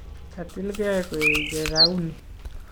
katilgei koeche rauni